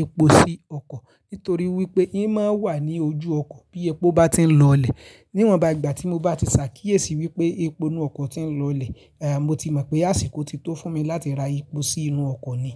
epo sí ọkọ̀ nítorí wípé imáa ń wà ní ojú ọkọ̀ bí epo bá ti ń lọlẹ̀. Níwọn bá ìgbà tí mo bá ti ṣàkíyèsí wípé epo inú ọkọ̀ ti ń lọlẹ̀, mo ti mọ̀ pé àsìkò ti tó fún mi láti ra epo sí inú ọkọ̀ ni.